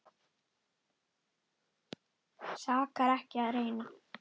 Sakar ekki að reyna.